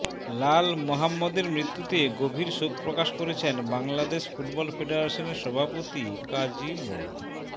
লাল মোহাম্মদের মৃত্যুতে গভীর শোক প্রকাশ করেছেন বাংলাদেশ ফুটবল ফেডারেশনের সভাপতি কাজী মো